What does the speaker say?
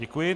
Děkuji.